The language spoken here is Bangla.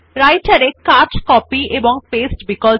Writer এ কাট কপি এবং পাস্তে বিকল্প